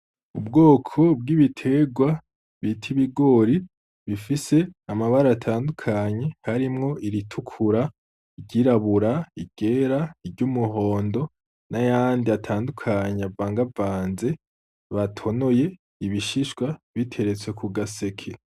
Ubwoko bwibiterwa bita ibigori, bifise amabara atandukanye harimwo iritukura, iryirabura, iryera, iryumuhondo nayandi atandukanye avangavanze, batonoye ibishishwa biteretse kugaseke.